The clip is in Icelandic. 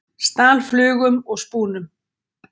Stal flugum og spúnum